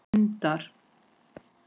Skammt frá dundar